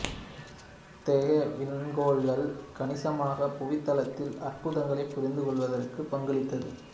இத்தகைய விண்கோளங்கள் கணிசமாக புவித்தளத்தின் அற்புதங்களை புரிந்து கொள்வதற்கு பங்களித்தது